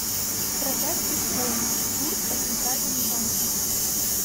продать биткоин курс по центральному банку